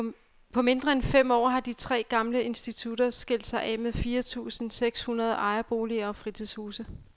På mindre end fem år har de tre gamle institutter skilt sig af med fire tusinde seks hundrede ejerboliger og fritidshuse.